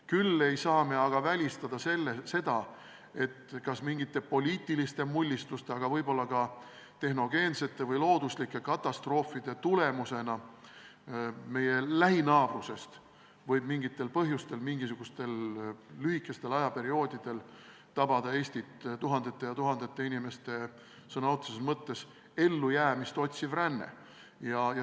Küll ei saa me välistada seda, et mingisuguste poliitiliste mullistuste või tehnogeense või loodusliku katastroofi tagajärjel tabab Eestit lühikest aega kestev tuhandete inimeste sõna otseses mõttes elu päästev ränne meie lähinaabrusest.